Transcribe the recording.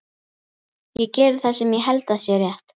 Ég geri það sem ég held að sé rétt.